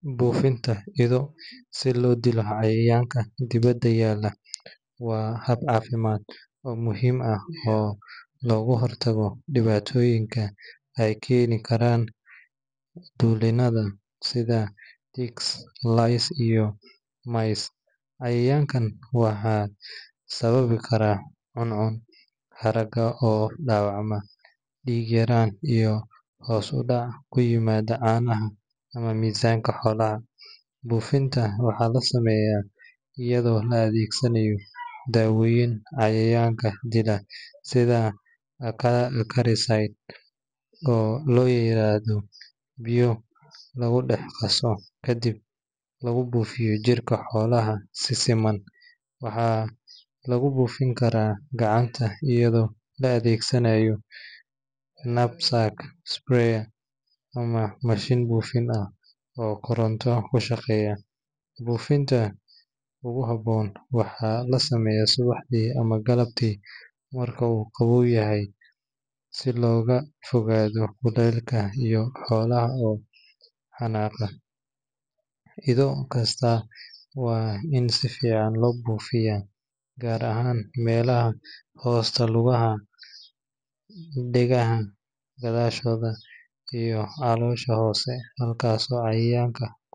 Buufinta ido si loo dilo cayayaanka dibadda yaalla waa hab caafimaad oo muhiim ah oo looga hortago dhibaatooyin ay keeni karaan dulinada sida ticks, lice, iyo mites. Cayayaankaan waxay sababi karaan cuncun, haragga oo dhaawacma, dhiig-yaraan, iyo hoos u dhac ku yimaada caanaha ama miisaanka xoolaha. Buufinta waxaa la sameeyaa iyadoo la adeegsanayo daawooyin cayayaanka dila sida acaricides oo loo diyaariyo biyo lagu dhex qaso, kadibna lagu buufiyo jirka xoolaha si siman. Waxaa lagu buufin karaa gacanta iyadoo la adeegsanayo knapsack sprayer ama mashiin buufin ah oo koronto ku shaqeeya. Buufinta ugu habboon waxaa la sameeyaa subaxdii ama galabtii marka uu qaboow yahay si looga fogaado kuleylka iyo xoolaha oo xanaaqa. Ido kasta waa in si fiican loo buufiyaa gaar ahaan meelaha hoosta lugaha, dhegaha gadaashooda, iyo caloosha hoose halkaasoo cayayaanku.